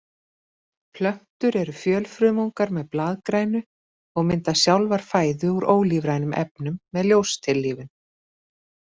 Plöntur eru fjölfrumungar með blaðgrænu og mynda sjálfar fæðu úr ólífrænum efnum með ljóstillífun.